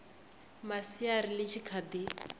masiari ḽi tshi kha ḓi